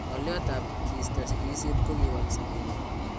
Ngo' lyot tab kisto sigisyet kokiwal sobenyun